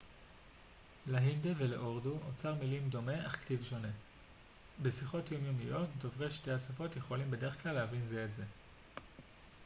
להינדו ולאורדו אוצר מילים דומה אך כתיב שונה בשיחות יומיומיות דוברי שתי השפות יכולים בדרך כלל להבין זה את זה